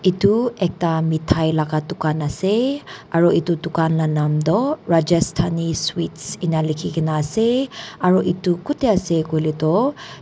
edu ekta methai la dukan ase aro edu dukan la nam toh rajasthanni sweet ena likhina ase aro edu kot ase koilae tu.